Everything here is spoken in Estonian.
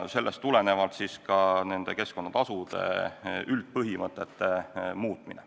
Sellest tuleneb ka keskkonnatasude üldpõhimõtete muutmine.